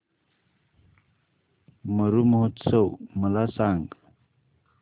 मरु महोत्सव मला सांग